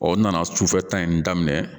n nana sufɛta in daminɛ